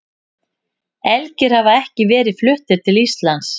Elgir hafa ekki verið fluttir til Íslands.